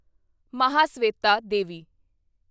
Mahasweta Devi